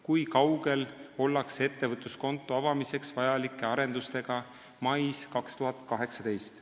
Kui kaugel ollakse ettevõtluskonto avamiseks vajalike arendustega mais 2018?